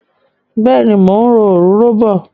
Bẹ́ẹ̀ni, mò ń òróró bọ̀.